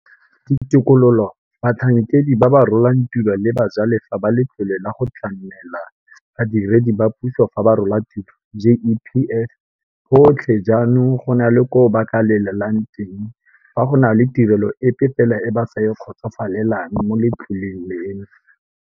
Ditokololo, batlhankedi ba ba rolang tiro le bajalefa ba Letlole la go Tlamela Ba diredi ba Puso fa ba Rola Tiro, GEPF, botlhe jaanong go na le koo ba ka lelelang teng fa go na le tirelo epe fela e ba sa e kgotsofalelang mo letloleng leno.